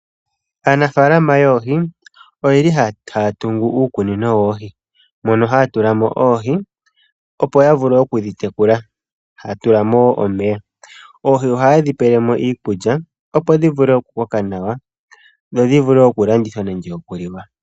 Aanafaalama yoohi oyeli haya tungu uukunino woohi mono haya tulamo oohi opo yavule oku dhitekula . Haya tulamo omeya . Oohi ohayedhi tulamo iikulya opo dhivule oku koka nawa nodhivule oku landithwa nenge okuliwa.